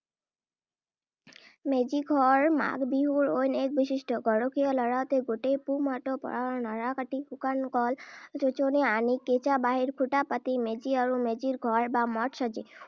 মেজি ঘৰ মাঘ বিহুৰ অইন এক বৈশিষ্ট্য। গৰখীয়া ল’ৰাহঁতে গোটেই পুহ মাহটো পথাৰৰ নৰা কাটি, শুকান কল চৌচনি আনি, কেঁচা বাঁহৰ খুটা পুতি মেজি আৰু মেজিঘৰ বা মঠ সাজে।